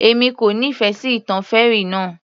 Èmi kò nífẹ̀ẹ́ sí ìtàn fairy náà